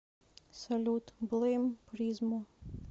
салют блэйм призмо